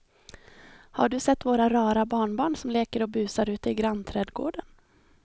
Har du sett våra rara barnbarn som leker och busar ute i grannträdgården!